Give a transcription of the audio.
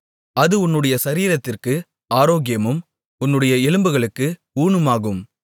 அது உன்னுடைய சரீரத்திற்கு ஆரோக்கியமும் உன்னுடைய எலும்புகளுக்கு ஊனுமாகும்